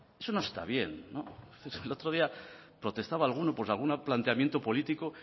eso no está bien el otro día protestaba alguno por algún planteamiento político